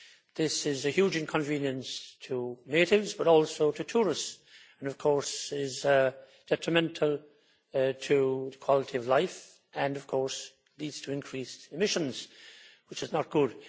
This is a huge inconvenience to natives, but also to tourists, and of course is detrimental to quality of life and leads to increased emissions, which is not good.